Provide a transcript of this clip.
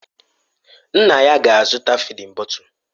Nna ya ga-azụta fịdin bọtul.